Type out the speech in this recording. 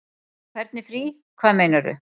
Hvernig frí. hvað meinarðu?